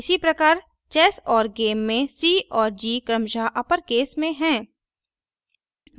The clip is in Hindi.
इसी प्रकार चेस और गेम के c और g क्रमशः अपरकेस में हैं